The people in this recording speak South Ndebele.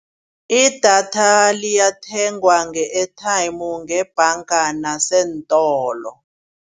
Idatha liyathengwa nge-airtime ngebhanga naseentolo.